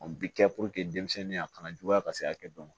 O bi kɛ denmisɛnninya kana juguya ka se hakɛ dɔ ma